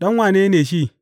Ɗan wane ne shi?